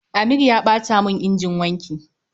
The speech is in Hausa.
Amir ya ɓata mun injin wanki